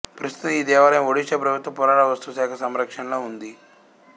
ప్రస్తుతం ఈ దేవాలయం ఒడిషా ప్రభుత్వ పురావస్తుశాఖ సంరక్షణలో ఉంది